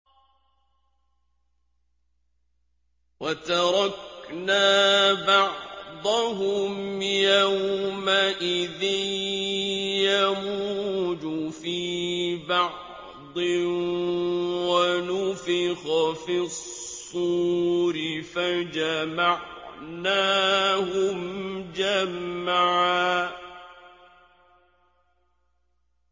۞ وَتَرَكْنَا بَعْضَهُمْ يَوْمَئِذٍ يَمُوجُ فِي بَعْضٍ ۖ وَنُفِخَ فِي الصُّورِ فَجَمَعْنَاهُمْ جَمْعًا